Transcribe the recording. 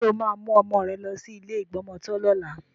Ṣé o máa mú ọmọ rẹ lọ sí ilé ìgbọmọtọ́ lọ́la?